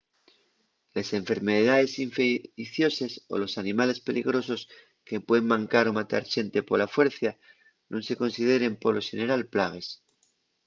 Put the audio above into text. les enfermedaes infeicioses o los animales peligrosos que puen mancar o matar xente pola fuercia nun se consideren polo xeneral plagues